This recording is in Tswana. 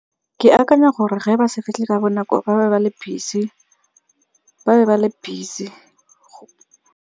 Ke akanya gore ge ba se fitlhe ka bonako ba be ba le busy.